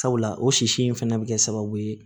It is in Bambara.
Sabula o sisi in fɛnɛ bi kɛ sababu ye